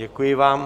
Děkuji vám.